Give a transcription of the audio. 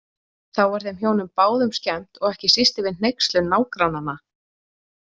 Þá var þeim hjónum báðum skemmt og ekki síst yfir hneykslun nágrannanna.